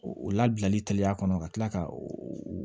O ladilanli ka kɔnɔ ka tila ka o